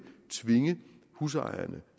tvinge husejerne